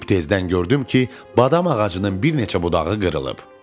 Sübh tezdən gördüm ki, badam ağacının bir neçə budağı qırılıb.